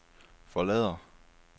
forlader